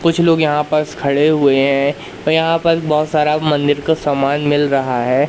कुछ लोग यहां बस खड़े हुए हैं और यहां पर बहुत सारा मंदिर का सामान मिल रहा है।